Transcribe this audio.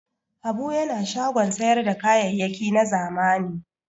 Habu yana shagon sayar da kayayyaki na zamani.